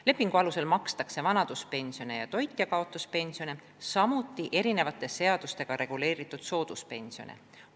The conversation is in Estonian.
Lepingu alusel makstakse vanaduspensione ja toitjakaotuspensione, samuti eri seadustega reguleeritud sooduspensione.